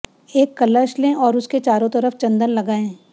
एक कलश लें और उसके चारों तरफ चन्दन लगाएं